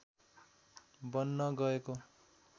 बन्न गएको